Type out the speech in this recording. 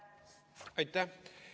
Aitäh!